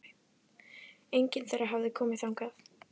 Enginn þeirra hafði komið þangað.